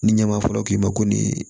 Ni ɲɛma fɔlɔ k'i ma ko nin